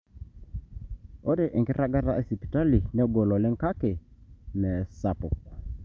ore enkiragata esipitali negol oleng kake meesapuk